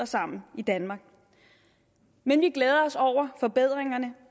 sammen i danmark men vi glæder os over forbedringerne